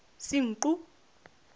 senqu